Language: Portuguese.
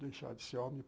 Deixar de ser homem?